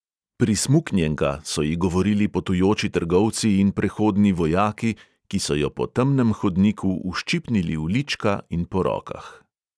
Prismuknjenka, so ji govorili potujoči trgovci in prehodni vojaki, ki so jo po temnem hodniku uščipnili v lička in po rokah.